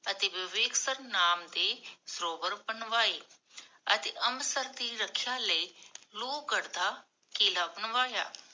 ਅਤੇ ਵਿਵੇਕਸਰ ਨਾਮ ਦੇ ਸਰੋਵਰ ਬਣਵਾਏ ਅਤੇ ਅੰਮ੍ਰਿਤਸਰ ਦੀ ਰਖਿਆ ਲਈ, ਲੋਹਗੜ੍ਹ ਦਾ ਕਿੱਲਾ ਬਣਵਾਇਆ।